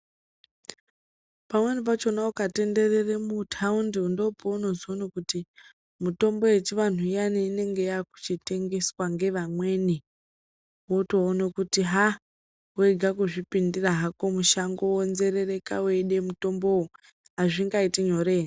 Pamweni pacho ukatenderera mutaundi ndopounozoona kuti mutombo yechivanhu iya inenge yototengeswa ngevamweni wotoona kuti haa wega kuzvipindira hako mushango wonzerereka hazvingaiti nyore here